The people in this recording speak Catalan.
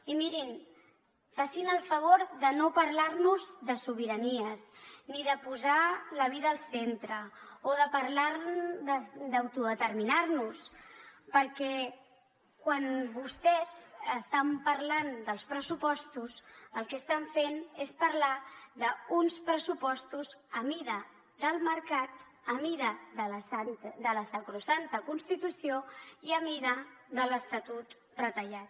i mirin facin el favor de no parlar nos de sobiranies ni de posar la vida al centre o de parlar d’autodeterminar nos perquè quan vostès estan parlant dels pressupostos el que estan fent és parlar d’uns pressupostos a mida del mercat a mida de la sacrosanta constitució i a mida de l’estatut retallat